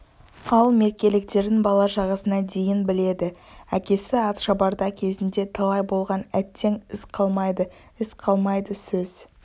ал меркеліктердің бала-шағасына дейін біледі әкесі атшабарда кезінде талай болған әттең із қалмайды із қалмайды сөз